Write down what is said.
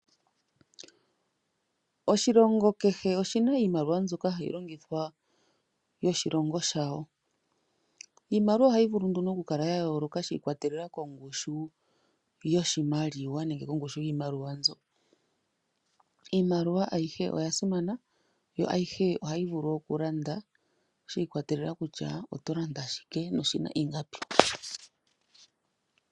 Oshilongo kehe oshina iimaliwa mbyoka hayi longithwa yoshilongo shawo, iimaliwa ohayi vulu nduno okukala yayooloka shiikwatelela kongushu yoshimaliwa nenge kongushu yiimaliwa nzo, iimaliwa ayihe oyasimama, yo ayihe ohayi vulu okulanda shiikwatelela kutya oto landa , shike noshina ingapi.